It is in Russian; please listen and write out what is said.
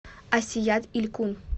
асият илькум